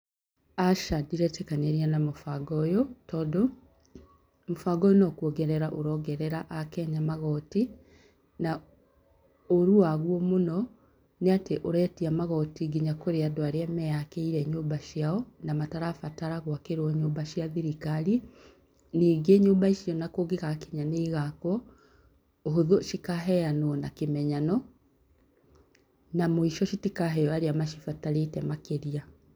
Aca ndireetĩkanĩria na mũbango ũyũ. Tondũ, mũbango ũyũ no kũongerera ũrongerera akenya magoti, na ũrũ wa guo mũno, nĩ atĩ ũretia magoti nginya kũrĩ andũ arĩa meakĩire nyũmba ciao, na matarabatara gũakĩrwo nyũmba cia thirikari. Ningĩ nyũmba icio ona kũngĩgakinya nĩ igaakwo, ũhũthũ cikaheanwo na kĩmenyano, na mũico citakaheo arĩa macibatarĩte makĩria.